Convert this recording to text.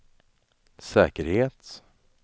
säkerhet